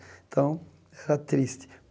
Então, era triste.